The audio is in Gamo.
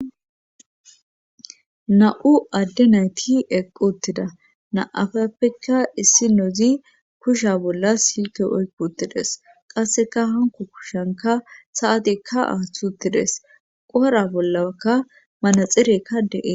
na7u adde nayti eqquttida naafappeka issi nozi kusha bolla silke oykkutides qasseka hanko kushanka saatikka athuttides qora bollakka manaxirekka deee